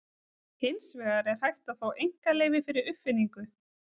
Hins vegar er hægt að fá einkaleyfi fyrir uppfinningu.